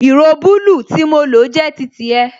Ìró bulu tí mo lo jẹ́ titi ẹ